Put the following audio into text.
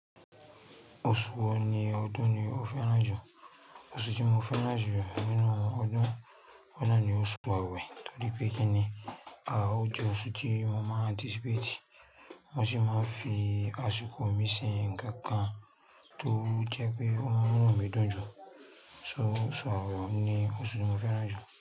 Oṣù wo ní ọdún ni o fẹ́ràn jù? Oṣù tí mo fẹ́ràn jù nínú ọdún ọ̀un nà ni oṣù Awẹ̀ torí pé kíni à ojú oṣù tí mo máa anticipate mo sì máa ń fi àsìkò mi ṣe ǹkan kan tó jẹ́ pé ọ munu mi dùn jù. So oṣù Ọ̀lAwẹ̀ ni oṣù tí mo fẹ́ràn jù.